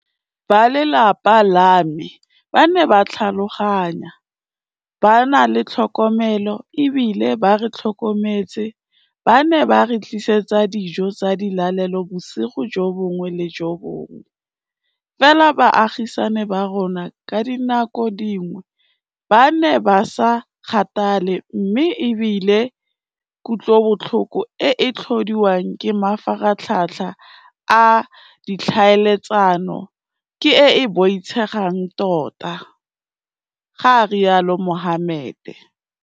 "Ba lelapa la me ba ne ba tlhaloganya, ba na le tlhokomelo e bile ba re tlhokometse, ba ne ba re tlisetsa dijo tsa dilalelo bosigo jo bongwe le jo bongwe, fela baagisani ba rona ka dinako dingwe ba ne ba sa kgathale mme e bile kutlobotlhoko e e tlhodiwang ke mafaratlhatlha a ditlhaeletsano ke e e boitshegang tota," ga rialo Mohammed.